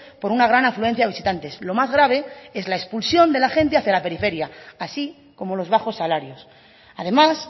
por una gran afluencia de visitantes lo más grave es la expulsión de la gente hacia la periferia así como los bajos salarios además